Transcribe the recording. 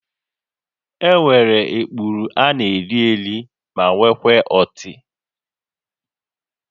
Enwere ikpuru a na-eri eri ma nwekwaa ọtị